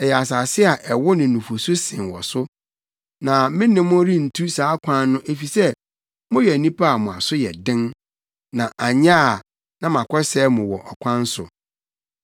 Ɛyɛ asase a ɛwo ne nufusu sen wɔ so. Na me ne mo rentu saa kwan no efisɛ moyɛ nnipa a mo aso yɛ den, na anyɛ a na makɔsɛe mo wɔ ɔkwan so.”